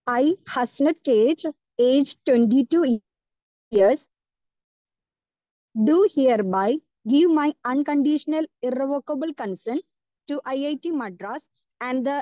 speaker 2 I, Hasanath K H age 22 years do hereby give my unconditional irrevocable consent to it Madras and the